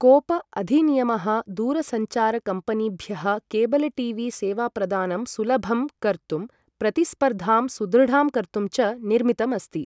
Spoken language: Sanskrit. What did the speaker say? कोप अधिनियमः दूरसञ्चारकम्पनीभ्यः केबलटीवीसेवाप्रदानं सुलभं कर्तुं प्रतिस्पर्धां सुदृढां कर्तुं च निर्मितम् अस्ति ।